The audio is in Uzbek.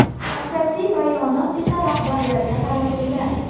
Asosiy bayonot esa rahbarlarga qaratilgan .